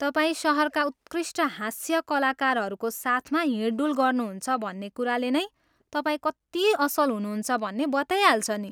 तपाईँ सहरका उत्कृष्ट हास्य कलाकारहरूको साथमा हिँडडुल गर्नुहुन्छ भन्ने कुराले नै तपाईँ कति असल हुनुहुन्छ भन्ने बताइहाल्छ नि।